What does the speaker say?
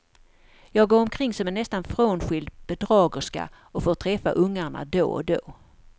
Jag går omkring som en nästan frånskild bedragerska och får träffa ungarna då och då.